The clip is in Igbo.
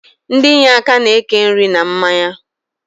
Ndi inyeaka na-eke nri na mmanya